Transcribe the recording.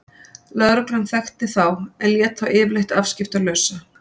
Lögreglan þekkti þá en lét þá yfirleitt afskiptalausa.